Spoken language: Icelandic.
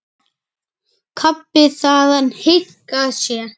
Kappi þaðan hygg að sé.